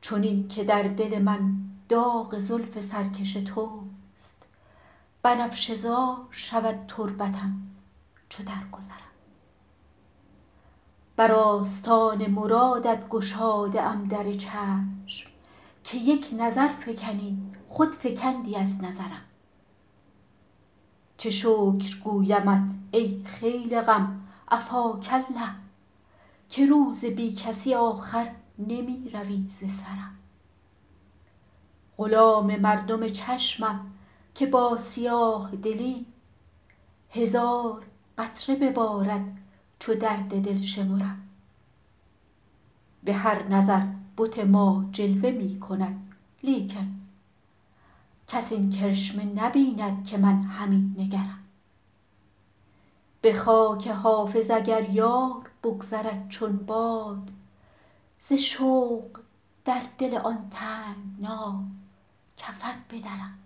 چنین که در دل من داغ زلف سرکش توست بنفشه زار شود تربتم چو درگذرم بر آستان مرادت گشاده ام در چشم که یک نظر فکنی خود فکندی از نظرم چه شکر گویمت ای خیل غم عفاک الله که روز بی کسی آخر نمی روی ز سرم غلام مردم چشمم که با سیاه دلی هزار قطره ببارد چو درد دل شمرم به هر نظر بت ما جلوه می کند لیکن کس این کرشمه نبیند که من همی نگرم به خاک حافظ اگر یار بگذرد چون باد ز شوق در دل آن تنگنا کفن بدرم